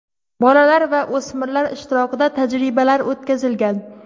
Bolalar va o‘smirlar ishtirokida tajribalar o‘tkazilgan.